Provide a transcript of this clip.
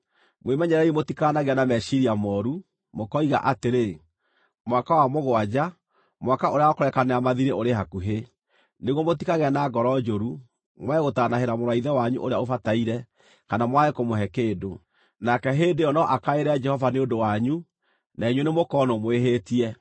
Mwĩmenyererei mũtikanagĩe na meciiria mooru, mũkoiga atĩrĩ: “Mwaka wa mũgwanja, mwaka ũrĩa wa kũrekanĩra mathiirĩ ũrĩ hakuhĩ,” nĩguo mũtikagĩe na ngoro njũru, mwage gũtaanahĩra mũrũ wa ithe wanyu ũrĩa ũbataire, kana mwage kũmũhe kĩndũ. Nake hĩndĩ ĩyo no akaĩre Jehova nĩ ũndũ wanyu, na inyuĩ nĩmũkonwo mwĩhĩtie.